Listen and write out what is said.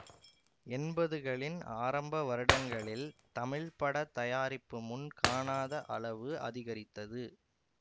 எண்பதுகளின் ஆரம்ப வருடங்களில் தமிழ்ப்பட தயாரிப்பு முன் காணாத அளவு அதிகரித்தது